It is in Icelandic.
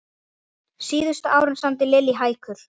Síðustu árin samdi Lillý hækur.